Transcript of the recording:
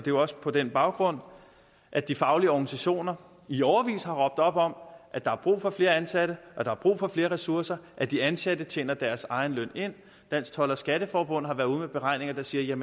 jo også på den baggrund at de faglige organisationer i årevis har råbt op om at der er brug for flere ansatte at der er brug for flere ressourcer at de ansatte tjener deres egen løn ind dansk told og skatteforbund har været ude med beregninger der siger